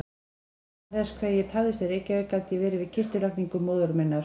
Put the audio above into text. Vegna þess hve ég tafðist í Reykjavík gat ég verið við kistulagningu móður minnar.